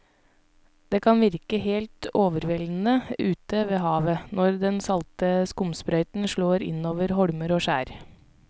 Det kan virke helt overveldende ute ved havet når den salte skumsprøyten slår innover holmer og skjær.